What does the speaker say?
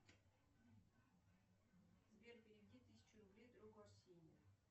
сбер переведи тысячу рублей другу арсению